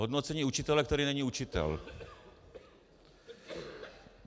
Hodnocení učitele, který není učitel.